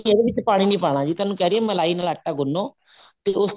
ਇਹਦੇ ਵਿੱਚ ਪਾਣੀ ਨੀ ਪਾਉਣਾ ਹੈਗਾ ਤੁਹਾਨੂੰ ਕਹਿ ਰਹਿਣ ਹਾਂ ਮਲਾਈ ਨਾਲ ਆਟਾ ਗੁੰਨੋ ਤੇ ਉਸਤੋਂ